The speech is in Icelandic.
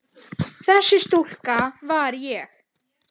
Þessi stúlka var ég.